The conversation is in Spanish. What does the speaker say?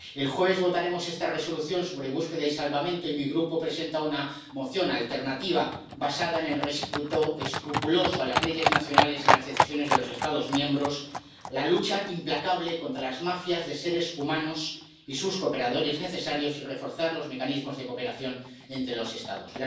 El jueves votaremos esta propuesta de Resolución sobre búsqueda y salvamento, y mi Grupo presenta una propuesta de Resolución alternativa basada en el respeto escrupuloso de las leyes nacionales y las decisiones de los Estados miembros, la lucha implacable contra las mafias de seres humanos y sus cooperadores necesarios, y el refuerzo de los mecanismos de cooperación entre los Estados.